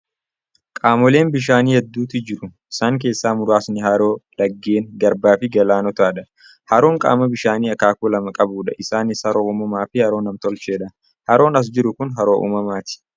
Qaamoleen bishaanii hedduutu jiru. Isaan keessaa muraasni haroo, laggeen, garbaa fi galaanotadha. Haroon qaama bishaanii akaakuu lama qabudha. Isaanis: haroo uumamaa fi haroo nam-tolcheedha. Haroon as jiru kun haroo uumamaati.